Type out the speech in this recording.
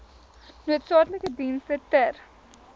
noodsaaklike dienste ter